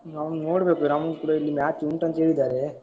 ನಾವ್ ನೋಡ್ಬೇಕು. ನಮ್ಗೂ ಕೂಡ ಇಲ್ಲಿ match ಉಂಟಂತ ಹೇಳಿದ್ದಾರೆ.